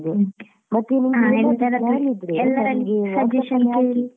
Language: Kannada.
.